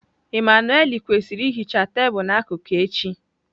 Emmanuelle kwesịrị ihicha tebụl n'akụkụ echi.